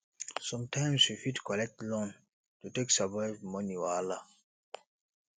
sometimes we fit collect loan to take survive money wahala